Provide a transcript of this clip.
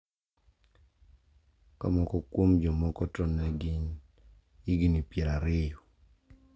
Ka moko kuom jomoko to ne gin higni pier ariyo.